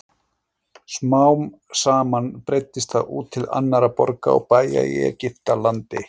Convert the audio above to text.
Smám saman breiddist það út til annarra borga og bæja í Egyptalandi.